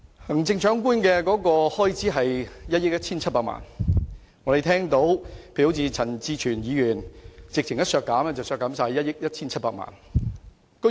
行政長官的開支是1億 1,700 萬元，陳志全議員直接提出將之全數削減，即削減1億 1,700 萬元。